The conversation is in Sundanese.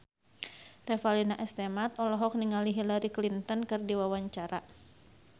Revalina S. Temat olohok ningali Hillary Clinton keur diwawancara